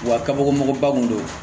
Wa kabako mɔgɔba kun do